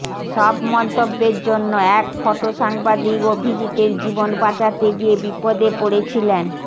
সব মন্তব্যের জন্য এক ফটো সাংবাদিক অভিজিতের জীবন বাঁচাতে গিয়ে বিপদে পড়েছিলেন